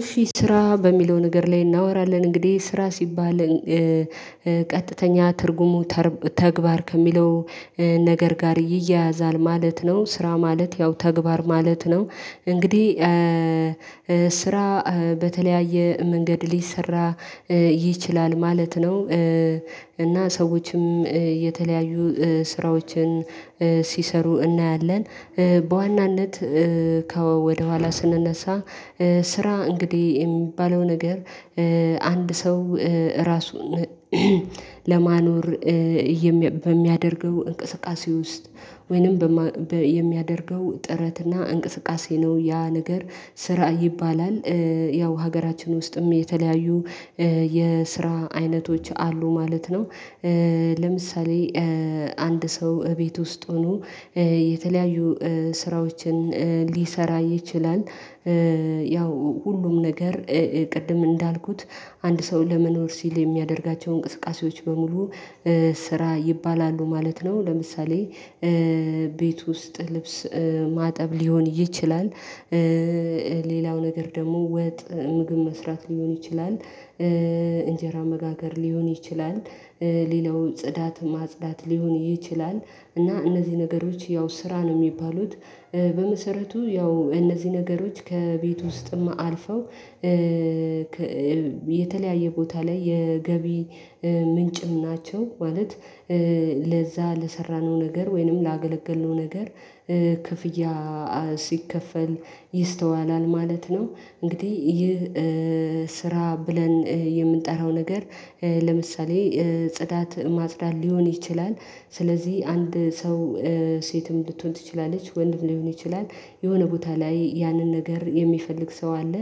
እሺ ስራ በሚለው ነገር ላይ እናወራለን እንግዲህ ስራ ሲባል ቀጥተኛ ትርጉሙ ተግባር ከሚለው ነገር ጋር ይያያዛል ማለት ነው። ስራ ማለት ያው ተግባር ማለት ነው። እንግዲህ ስራ በተለያየ መንገድ ሊሰራ ይችላል ማለት ነው። እና ሰዎችም የተለያዩ ስራዎችን ሲሰሩ እናያለን በዋናነት ከወደኋላ ስንነሳ ስራ እንግዲህ የሚባለው ነገር አንድ ሰው ራሱን ለማኖር በሚያደርገው እንቅስቃሴ ውስጥ ወይንም በሚያደርገው ጥረት እና እንቅስቃሴ ነው ያ ነገር ስራ ይባላል። ያው ሀገራችን ውስጥም የተለያዩ የስራ አይነቶች አሉ ማለት ነው። ለምሳሌ አንድ ሰው ቤት ውስጥ ሆኖ የተለያዩ ስራዎችን ሊሰራ ይችላል። ያው ሁሉም ነገር ቅድም እንዳልኩት አንድ ሰው ለመኖር ሲል የሚያደርጋቸውን እንቅስቃሴዎች በሙሉ ስራ ይባላሉ ማለት ነው። ለምሳሌ ቤት ውስጥ ልብስ ማጠብ ሊሆን ይችላል። ሌላው ነገር ደግሞ ወጥ ምግብ መስራት ሊሆን ይችላል። እንጀራ መጋገር ሊሆን ይችላል። ሌላው ጽዳት ማጽዳት ሊሆን ይችላል እና እነዚህ ነገሮች ያው ስራ ነው የሚባሉት። በመሰረቱ ያው እነዚህ ነገሮች ከቤት ውስጥም አልፈው የተለያየ ቦታ ላይ የገቢ ምንጭም ናቸው። ማለት ለዛ ለሰራነው ነገር ወይንም ላገለገልነው ነገር ክፍያ ሲከፈል ይስተዋላል ማለት ነው። እንግዲህ ይህ ስራ ብለን የምንጠራው ነገር ለምሳሌ ጽዳት ማጽዳት ሊሆን ይችላል። ስለዚህ አንድ ሰው ሴትም ልትሆን ትችላለች ወንድም ሊሆን ይችላል የሆነ ቦታ ላይ ያንን ነገር የሚፈልግ ሰው አለ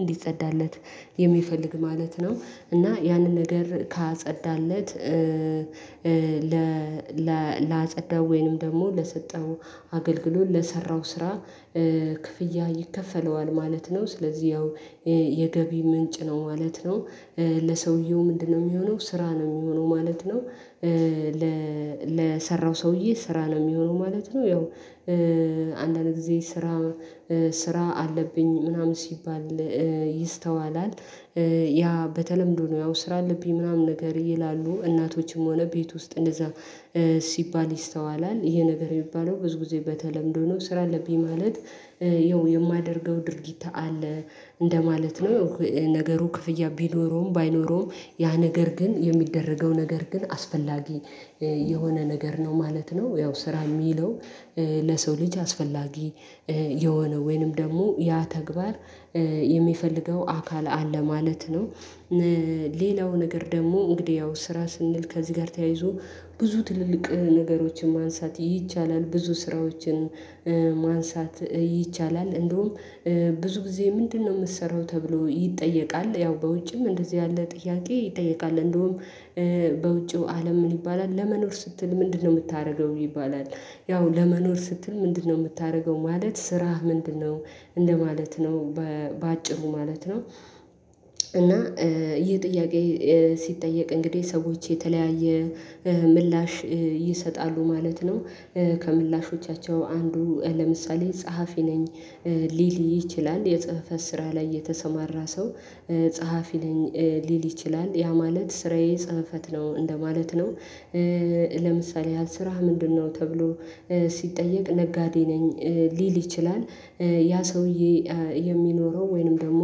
እንዲጸዳለት የሚፈልግ ማለት ነው። እና ያንን ነገር ካጸዳለት ለአጸዳው ወይንም ደግሞ ለሰጠው አገልግሎት ለሰራው ስራ ክፍያ ይከፈለዋል ማለት ነው። ስለዚህ ያው የገቢ ምንጭ ነው ማለት ነው። ለሰውየው ምንድነው የሚሆነው ስራ ነው የሚሆነው ማለት ነው? ለሰራው ሰውዬ ስራ ነው የሚሆነው ማለት ነው። ያው አንዳንድ ጊዜ ስራ ስራ አለብኝ ምናምን ሲባል ይስተዋላል። ያ በተለምዶ ነው ያው ስራ አለብኝ ምናምን ነገር ይላሉ እናቶችም ሆነ ቤት ውስጥ እንደዛ ሲባል ይስተዋላል። ይሄ ነገር የሚባለው ብዙ ጊዜ በተለምዶ ነው ስራ አለብኝ ማለት ያው የማደርገው ድርጊት አለ እንደማለት ነው። ነገሩ ክፍያ ቢኖረውም ባይኖረውም ያ ነገር ግን የሚደረገው ነገር ግን አስፈላጊ የሆነ ነገር ነው ማለት ነው። ያው ስራ የሚለው ለሰው ልጅ አስፈላጊ የሆነ ወይንም ደግሞ ያ ተግባር የሚፈልገው አካል አለ ማለት ነው። ሌላው ነገር ደግሞ እንግዲህ ያው ስራ ስንል ከዚህ ጋር ተያይዞ ብዙ ትልልቅ ነገሮችን ማንሳት ይቻላል ብዙ ስራዎችን ማንሳት ይቻላል እንደውም ብዙ ጊዜ ምንድነው የምትሰራው ተብሎ ይጠየቃል። ያው በውጭም እንደዚህ ያለ ጥያቄ ይጠየቃል እንደውም በውጪው አለም ምን ይባላል ለመኖር ስትል ምንድነው የምታደርገው ይባላል? ያው ለመኖር ስትል ምንድነው የምታደርገው ማለት ስራህ ምንድነው? እንደማለት ነው በአጭሩ ማለት ነው። እና ይህ ጥያቄ ሲጠየቅ እንግዲህ ሰዎች የተለያየ ምላሽ ይሰጣሉ ማለት ነው። ከምላሾቻቸው አንዱ ለምሳሌ ጸሐፊ ነኝ ሊል ይችላል የጽህፈት ስራ ላይ የተሰማራ ሰው ጸሐፊ ሊል ይችላል ያ ማለት ስራዬ ጽህፈት ነው እንደማለት ነው። ለምሳሌ ያህል ስራህ ምንድነው ተብሎ ሲጠየቅ ነጋዴ ነኝ ሊል ይችላል። ያ ሰውዬ የሚኖረው ወይንም ደግሞ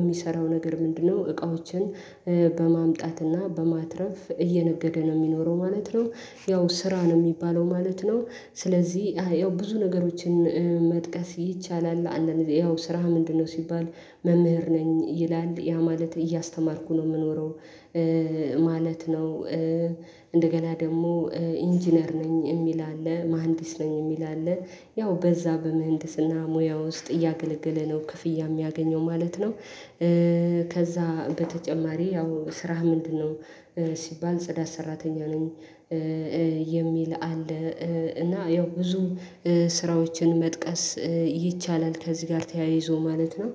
የሚሰራው ነገር ምንድነው እቃዎችን በማምጣትና በማትረፍ እየነገደ ነው የሚኖረው ማለት ነው። ያው ስራ ነው የሚባለው ማለት ነው። ስለዚህ ያው ብዙ ነገሮችን መጥቀስ ይቻላል አንዳንድ ጊዜ ያው ስራ ምንድነው ሲባል መምህር ነኝ ይላል ያ ማለት እያስተማርኩ ነው የምኖረው። ማለት ነው። እንደገና ደግሞ ኢንጂነር ነኝ የሚል አለ መሃንዲስ ነኝ የሚል አለ ያው በዛ በምህንድስና ሙያ ውስጥ እያገለገለ ነው ክፍያ የሚያገኘው ማለት ነው። ከዛ በተጨማሪ ያው ስራህ ምንድነው? ሲባል ጽዳት ሰራተኛ ነኝ የሚል አለ። እና ያው ብዙ ስራዎችን መጥቀስ ይቻላል ከዚህ ጋር ተያይዞ ማለት ነው።